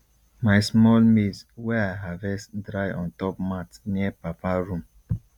my small maize wey i harvest dry ontop mat near papa room